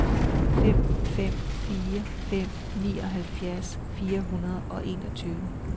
fem fem fire fem nioghalvfjerds fire hundrede og enogtyve